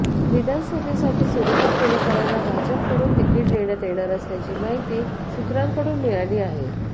विधानसभेसाठी सुरेखा पुणेकरांना भाजपकडून तिकीट देण्यात येणार असल्याची माहिती सुत्रांकडून मिळाली आहे